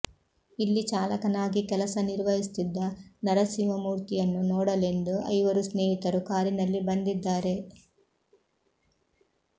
ಇಲ್ಲಿ ಚಾಲಕನಾಗಿ ಕೆಲಸ ನಿರ್ವಹಿಸುತ್ತಿದ್ದ ನರಸಿಂಹಮೂರ್ತಿಯನ್ನು ನೋಡಲೆಂದು ಐವರು ಸ್ನೇಹಿತರು ಕಾರಿನಲ್ಲಿ ಬಂದಿದ್ದಾರೆ